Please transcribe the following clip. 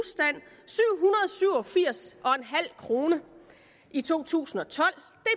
syv og firs kroner i to tusind og tolv